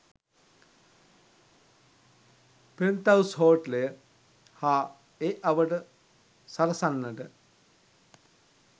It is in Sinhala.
'පෙන්ත්හවුස් හෝටලය' හා ඒ අවට සරසන්නට